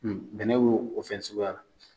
Bɛnɛ b'o fɛn suguya la.